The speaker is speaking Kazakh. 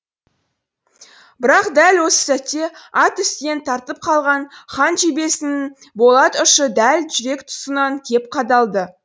бірақ дәл осы сәтте ат үстінен тартып қалған хан жебесінің болат ұшы дәл жүрек тұсынан кеп қадалды